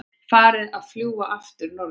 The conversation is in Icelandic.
Farið að fljúga aftur norður